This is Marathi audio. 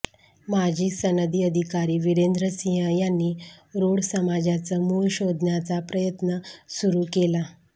माजी सनदी अधिकारी विरेंद्रसिंह यांनी रोड समाजाचं मूळ शोधण्याचा प्रयत्न सुरू केला